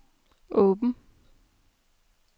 åben